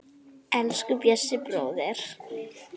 Elsku Bjössi bróðir.